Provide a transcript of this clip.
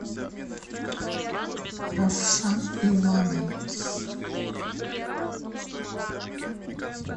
равшан иванович